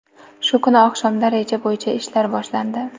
Shu kuni oqshomda reja bo‘yicha ishlar boshlandi.